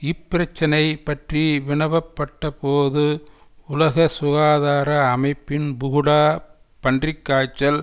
இப்பிரச்சினை பற்றி வினவப்பட்டபோது உலக சுகாதார அமைப்பின் புகுடா பன்றி காய்ச்சல்